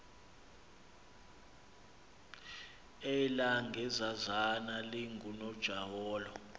elaa gezazana lingunojaholo